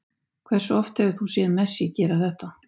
Hversu oft hefur þú séð Messi gera þetta?